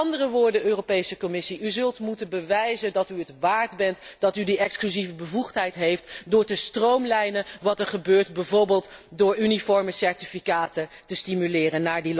Met andere woorden, Europese Commissie, u zult moeten bewijzen dat u het waard bent dat u die exclusieve bevoegdheid heeft door te stroomlijnen wat er gebeurt, bijvoorbeeld door uniforme certificaten naar die landen toe te stimuleren.